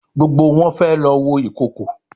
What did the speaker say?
Gbógbó wón fé ló wọ Ìkokò.